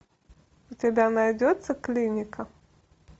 у тебя найдется клиника